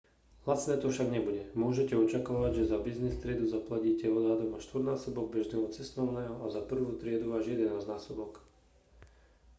lacné to však nebude môžete očakávať že za business triedu zaplatíte odhadom až štvornásobok bežného cestovného a za prvú triedu až jedenásťnásobok